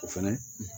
O fɛnɛ